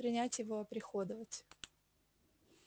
принять его оприходовать